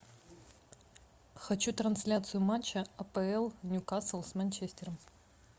хочу трансляцию матча апл ньюкасл с манчестером